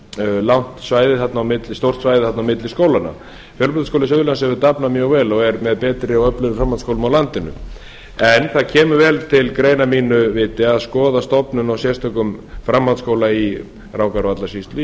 verulega stórt svæði þarna á milli skólanna fjölbrautaskóli suðurlands hefur dafnað mjög vel og er með betri og öflugri framhaldsskólum á landinu en það kemur vel til greina að mínu viti að skoða stofnun á sérstökum framhaldsskóla í rangárvallasýslu